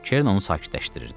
Kern onu sakitləşdirirdi.